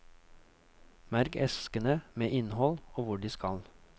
Merk eskene med innhold og hvor de skal.